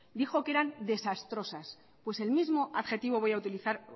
dijo que eran desastrosas pues el mismo adjetivo voy a utilizar